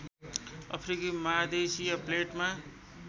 अफ्रिकी महादेशीय प्लेटमा